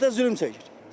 Millət də zülm çəkir.